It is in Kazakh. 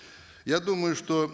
я думаю что